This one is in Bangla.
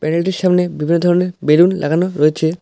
প্যান্ডেলটির সামনে বিভিন্ন ধরনের বেলুন লাগানো রয়েছে।